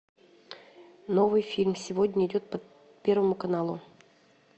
новый фильм сегодня идет по первому каналу